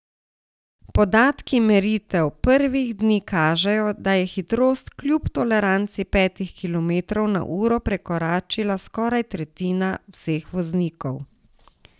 Podatki meritev prvih dni kažejo, da je hitrost kljub toleranci petih kilometrov na uro prekoračila skoraj tretjina vseh voznikov.